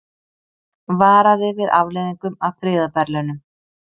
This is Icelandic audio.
Varaði við afleiðingum af friðarverðlaunum